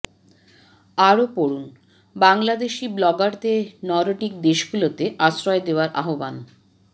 আরও পড়ুনঃ বাংলাদেশি ব্লগারদের নরডিক দেশগুলোতে আশ্রয় দেওয়ার আহ্বান